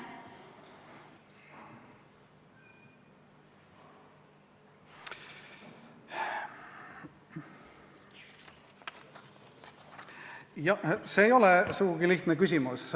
Jah, see ei ole sugugi lihtne küsimus.